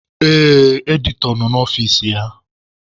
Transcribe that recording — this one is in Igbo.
Ee, Editọ nọ n'ọfici ya.